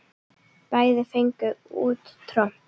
Bæði fengu út tromp.